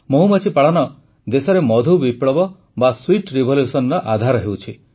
ମହୁମାଛି ପାଳନ ଦେଶରେ ମଧୁ ବିପ୍ଳବ ବା ସ୍ୱୀଟ୍ revolutionର ଆଧାର ହେଉଛି